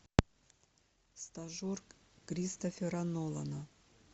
стажер кристофера нолана